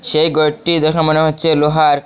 এই ঘরটি দেখে মনে হচ্ছে লোহার।